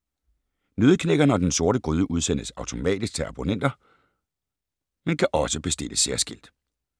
Nøddeknækkeren og Den Sorte Gryde udsendes automatisk til abonnenter, men kan også bestilles særskilt.